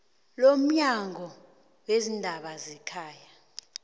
lomnyango weendaba zekhaya